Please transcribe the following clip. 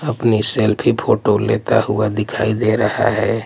अपनी selfie photo लेता हुआ दिखाई दे रहा हैं।